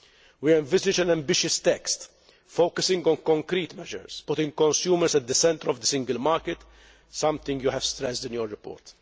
We envisage an ambitious text, focusing on concrete measures, putting consumers at the centre of the single market, something you have stressed in your report.